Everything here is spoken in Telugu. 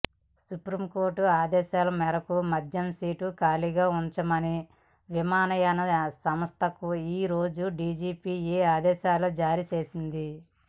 సుప్రీంకోర్టు ఆదేశాల మేరకు మధ్య సీటు ఖాళీగా ఉంచమని విమానయాన సంస్థలకు ఈ రోజు డీజీసీఏ ఆదేశాలు జారీ చేసింది